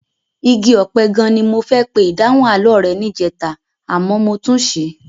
Igi ọ̀pẹ gan-an ni mo fẹ́ pe ìdáhùn àlọ́ rẹ níjẹta àmọ́ mo tún ṣì í.